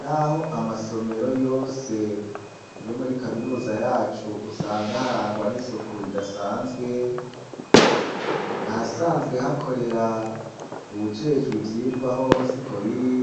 Naho amasomero yose yo muri kaminuza yacu usanga aharangwan'isuku ridasanzwe ahasanzwe hakorera uwujejwi vyirwa hoho si ko biri,